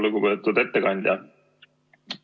Lugupeetud ettekandja!